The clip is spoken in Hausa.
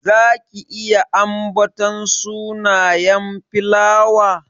Zaki iya ambaton sunayen filawa?